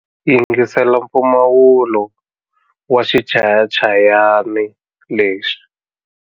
Yingisela mpfumawulo wa xichayachayani lexi.